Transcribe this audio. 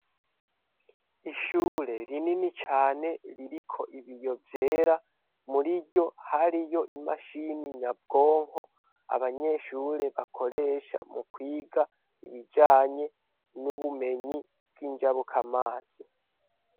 Ishuri rinini cane ririko ibiyo vyera, muriryo hariyo imashini nyabwonko, abanyeshure bakoresha mu kwiga ibijanye n'ubumenyi bw'injabukamazi.